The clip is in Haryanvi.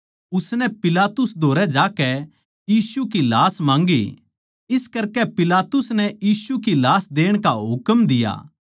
उसनै पिलातुस धोरै जाकै यीशु की लाश माँगी इस करकै पिलातुस नै यीशु की लाश देण का हुकम दिया